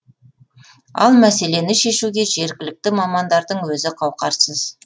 ал мәселені шешуге жергілікті мамандардың өзі қауқарсыз